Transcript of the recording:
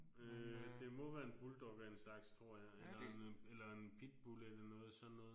Øh det må være en bulldog af en slags tror jeg eller en eller en pitbull eller noget sådan noget